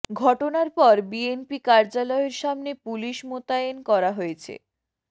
ঘটনার পর বিএনপি কার্যালয়ের সামনে পুলিশ মোতায়েন করা হয়েছে